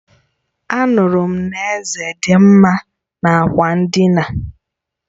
Anuru m na Eze di nma n'ákwà ndịna